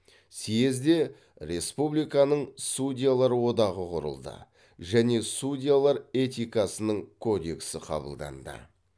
съезде республиканың судьялар одағы құрылды және судьялар этикасының кодексі қабылданды